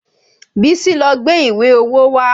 Bísí lọ gbé ìwé owó wá